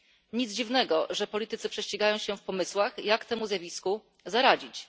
Nic dziwnego, że politycy prześcigają się w pomysłach, jak temu zjawisku zaradzić.